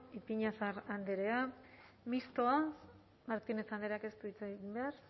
ipiñazar andrea mistoa martínez andreak ez du hitz egin behar